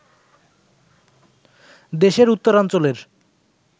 দেশের উত্তরাঞ্চলের